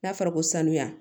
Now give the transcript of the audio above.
N'a fɔra ko sanuya